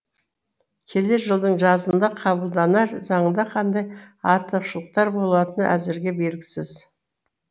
келер жылдың жазында қабылданар заңда қандай артықшылықтар болатыны әзірге белгісіз